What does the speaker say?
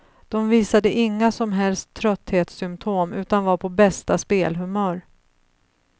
De visade inga som helst trötthetssymptom, utan var på bästa spelhumör.